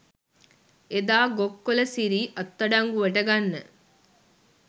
එදා ගොක්කොල සිරී අත්අඩංගුවට ගන්න